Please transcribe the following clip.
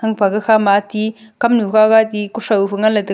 nang fa fa khama ti kam nu gaga to kushao ngan ley tega.